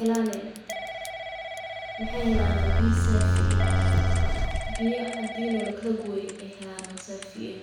helaan, waxaay helaan biya safi ah, biya cadiin oo lakala gooye oo saafi ah.